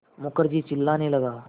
मुखर्जी चिल्लाने लगा